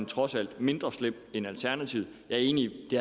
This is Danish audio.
trods alt mindre slem end alternativet jeg er enig i